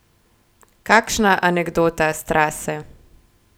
Kakšna anekdota s trase?